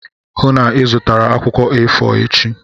Hụụ na Ị zụtara akwụkwọ A4 echi!